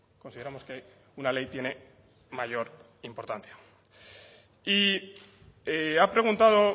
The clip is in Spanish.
consideramos que una ley tiene mayor importancia y ha preguntado